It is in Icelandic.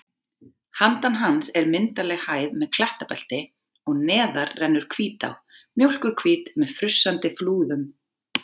Handan hans er myndarleg hæð með klettabelti og neðar rennur Hvítá, mjólkurhvít með frussandi flúðum.